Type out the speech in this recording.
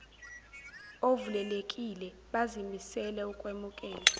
ovulelekile bazimisele ukwemukela